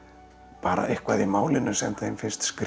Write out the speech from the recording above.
bara eitthvað í málinu sem þeim finnst skrýtið